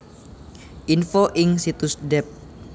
Info ing situs Dept